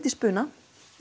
í spuna